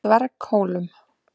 Dverghólum